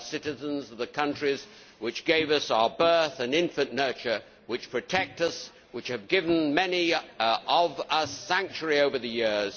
We are citizens of the countries which gave us our birth and infant nurture, which protect us and which have given many of us sanctuary over the years.